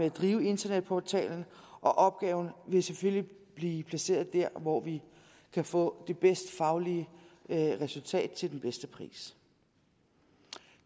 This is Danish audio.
at drive internetportalen opgaven vil selvfølgelig blive placeret dér hvor vi kan få det bedste faglige resultat til den bedste pris